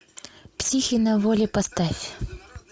психи на воле поставь